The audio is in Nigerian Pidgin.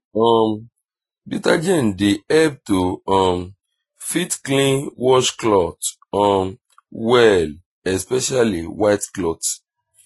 um detergent dey help to um fit clean wash cloth um well especially white cloth